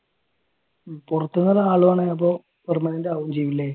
പൊറത്തൂന്നുള്ള ആളുവന്നാൽ അപ്പൊ permanent ആകും ചെയ്യും അല്ലെ